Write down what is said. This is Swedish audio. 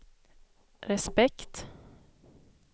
respekt